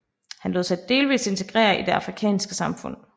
Han lod sig delvis integrere i det afrikanske samfund